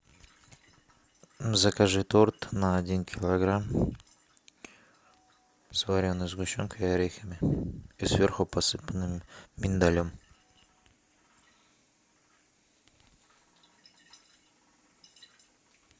закажи торт на один килограмм с вареной сгущенкой и орехами и сверху посыпанный миндалем